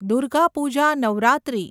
Durga Puja Navratri